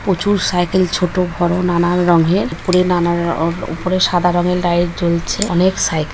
প্রচুর সাইকেল ছোট বড় নানান রঙ্গের পড়ে নানার উপরে সাদা রঙের লাইট জ্বলছে অনেক সাই --